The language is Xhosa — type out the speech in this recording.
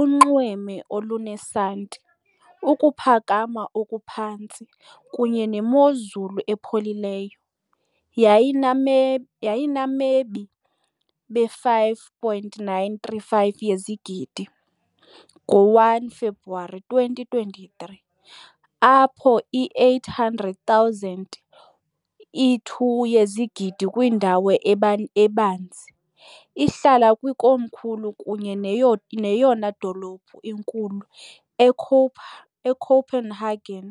unxweme olunesanti, ukuphakama okuphantsi, kunye nemozulu epholileyo . Yayiname yayinamebi be-5.935 yezigidi, 1 February 2023, apho i-800,000, i-2 yezigidi kwindawo ebanzi, ihlala kwikomkhulu kunye neyona dolophu inkulu, iCopenhagen .